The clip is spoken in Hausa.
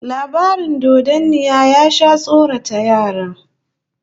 Labarin dodanniya ya sha tsorata yara